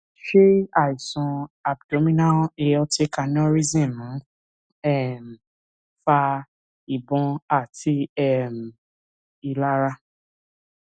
ṣé àìsàn abdominal aortic aneurysm ń um fa ìbòn àti um ìlara